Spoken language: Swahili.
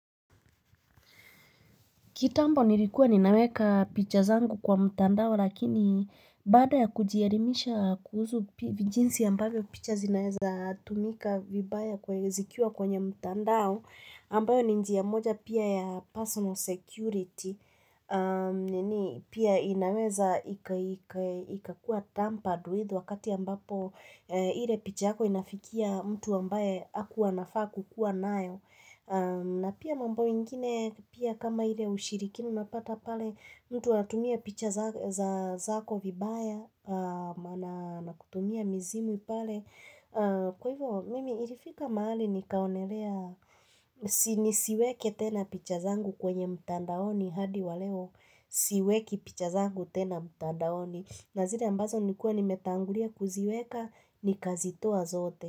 Kitambo nilikuwa ninaweka picha zangu kwa mtandao lakini baada ya kujielimisha kuhusu jinsi ambavyo picha zinawezatumika vibaya zikiwa kwenye mtandao ambayo ni njia moja pia ya personal security. Pia inaweza ikakuwa tampered with wakati ambapo ile picha yako inafikia mtu ambaye hakuwa anafaa kukuwa nayo. Na pia mambo ingine pia kama ile ushirikina unapata pale mtu anatumia picha zako vibaya maana na kutumia mizimu pale. Kwa hivyo mimi ilifika mahali nikaonelea Si nisiweke tena picha zangu kwenye mtandaoni hadi wa leo siweki picha zangu tena mtandaoni. Na zile ambazo nilikuwa nimetangulia kuziweka nikazitoa zote.